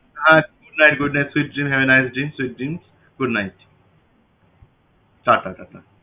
হ্যাঁ good night good night sweet dreams have a nice dream sweet dreams good night tata tata